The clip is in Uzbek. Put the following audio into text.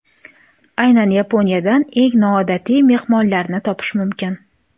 Aynan Yaponiyadan eng noodatiy mehmonxonalarni topish mumkin.